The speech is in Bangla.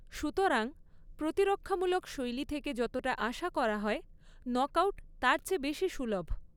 সুতরাং, প্রতিরক্ষামূলক শৈলী থেকে যতটা আশা করা হয় নকআউট তার চেয়ে বেশি সুলভ।